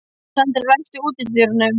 Sandri, læstu útidyrunum.